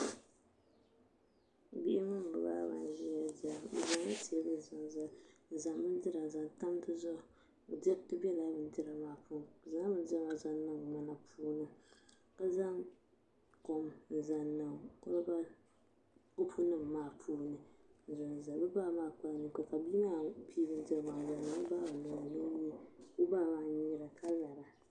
Bihi mini bi baaba n ʒiya dira bi zaŋla teebuli zaŋ zali n zaŋ bindira n zaŋ tam dizuɣu diriti biɛla bindira maa puuni bi zaŋla bindira maa zaŋ niŋ ŋmana puuni ka zaŋ kom n zaŋ niŋ kopu nim maa puuni n zaŋ zali o baa maa kpala ninkpara ka bia maa pii bindirigu maa n zaŋ niŋ o baa maa nolini ka o baa maa kara ka nyiira